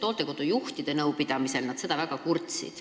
Hooldekodude juhtide nõupidamisel nad selle üle väga kurtsid.